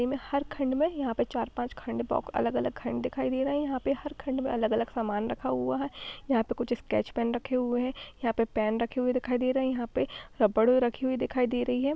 इनमें हर खंड में यहाँ पर चार पांच खंड को अलग अलग कांड दिखाई दे रहा हैं यहाँ पे अलग अलग सामान रखा हुआ हैं यहाँ पर कुछ स्केच पेन रखा हुआ है यहाँ पर पेन रखा हुआ दिखाई दे रहा हैं यहाँ पर रबड़ उई रखी हुई दिखाई दे रही हैं।